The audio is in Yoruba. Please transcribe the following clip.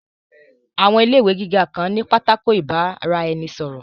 Àwọn ilé ìwé gíga kan ní pátákó ìbára-ẹni-sọ̀rọ̀